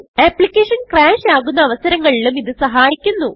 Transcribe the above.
application crash ആകുന്ന അവസരങ്ങളിലും ഇത് സഹായിക്കുന്നു